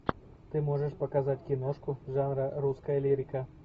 ты можешь показать киношку жанра русская лирика